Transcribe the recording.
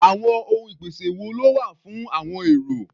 Àwọn ohun ìpèsè wo ló wà fún àọn èrò?